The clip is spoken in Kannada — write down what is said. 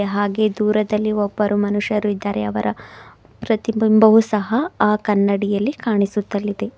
ಹಾಗೆ ದೂರದಲ್ಲಿ ಒಬ್ಬರು ಮನುಷ್ಯರು ಇದ್ದಾರೆ ಅವರ ಪ್ರತಿಬಿಂಬವು ಸಹ ಆ ಕನ್ನಡಿಯಲ್ಲಿ ಕಾಣಿಸುತ್ತಲಿದೆ.